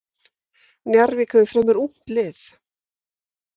Njarðvík hefur fremur ungt lið.